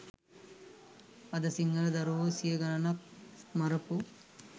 අද සිංහල දරුවෝ සිය ගණනක් මරපු